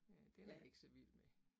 Ja, den er jeg ikke så vild med